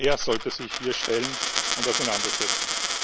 Er sollte sich hier stellen und mit uns auseinandersetzen.